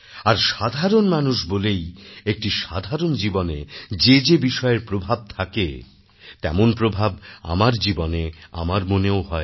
আর সাধারণ মানুষ বলেই একটি সাধারণ জীবনে যে যে বিষয়ের প্রভাব থাকে তেমন প্রভাব আমার জীবনে আমার মনেও হয়